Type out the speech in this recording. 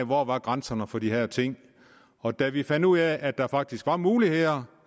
hvor grænserne var for de her ting da vi fandt ud af at der faktisk var muligheder